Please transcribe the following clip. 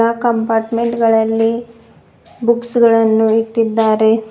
Compartment ಗಳಲ್ಲಿ books ಗಳನ್ನು ಇಟ್ಟಿದ್ದಾರೆ.